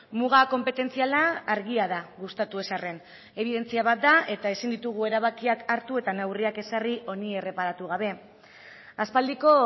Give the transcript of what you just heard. muga konpetentziala argia da gustatu ez arren ebidentzia bat da eta ezin ditugu erabakiak hartu eta neurriak ezarri honi erreparatu gabe aspaldiko